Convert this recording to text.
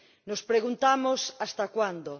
Nos preguntamos ¿hasta cuándo?